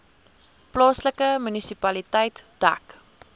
plaaslike munisipaliteit dek